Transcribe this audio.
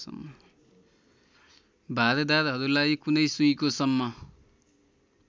भारदाहरूलाई कुनै सुइँकोसम्म